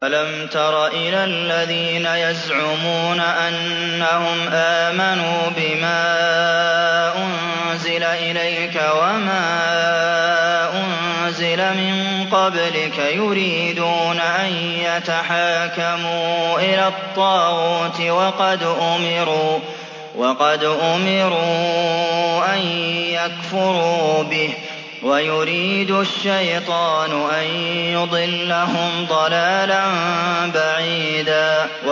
أَلَمْ تَرَ إِلَى الَّذِينَ يَزْعُمُونَ أَنَّهُمْ آمَنُوا بِمَا أُنزِلَ إِلَيْكَ وَمَا أُنزِلَ مِن قَبْلِكَ يُرِيدُونَ أَن يَتَحَاكَمُوا إِلَى الطَّاغُوتِ وَقَدْ أُمِرُوا أَن يَكْفُرُوا بِهِ وَيُرِيدُ الشَّيْطَانُ أَن يُضِلَّهُمْ ضَلَالًا بَعِيدًا